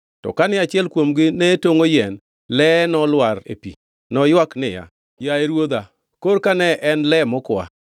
To kane achiel kuomgi ne tongʼo yien, leye nolwar e pi. Noywak niya, “Yaye ruodha, korka ne en le mokwa!”